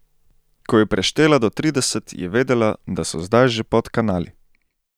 Ko je preštela do trideset, je vedela, da so zdaj že pod kanali.